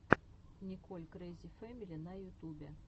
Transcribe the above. николь крэзи фэмили на ютубе